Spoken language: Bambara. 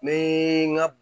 N bɛ n ka